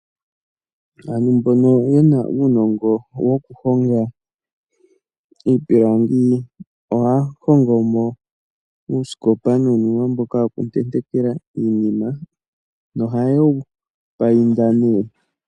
Aantu mbono ye na uunongo woku honga iipilangi. Ohaya hongo mo uusikopa nuunima mboka woku tentekela iinima na oha ye wu payinda .